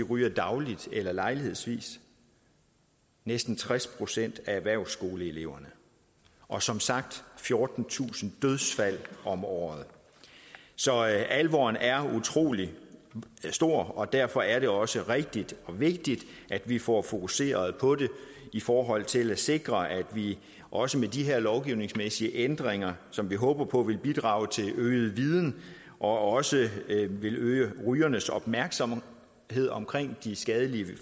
ryger dagligt eller lejlighedsvis næsten tres procent af erhvervsskoleeleverne og som sagt fjortentusind dødsfald om året så alvoren er utrolig stor og derfor er det også rigtigt og vigtigt at vi får fokuseret på det i forhold til at sikre at vi også med de her lovgivningsmæssige ændringer som vi håber på vil bidrage til øget viden og også vil øge rygernes opmærksomhed omkring de skadelige